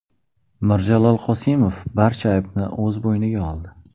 Mirjalol Qosimov barcha aybni o‘z bo‘yniga oldi.